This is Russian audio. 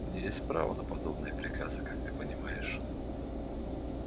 у меня есть право на подобные приказы как ты понимаешь